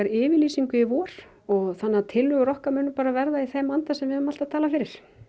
yfirlýsingu í vor þannig að tillögur okkar munu bara verða í þeim anda sem við höfum alltaf talað fyrir